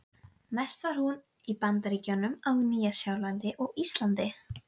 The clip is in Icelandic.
grandar með því athæfi samstundis sínu gamla sjálfi.